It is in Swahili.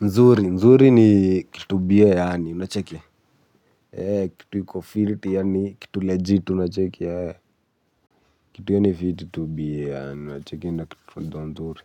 Nzuri, nzuri ni kitu biye yani, unacheki. Kitu iko fiti yaani, kitu legit, unacheki. Kitu yaani fiti tu biye yani, unacheki. Na kitu ndo nzuri.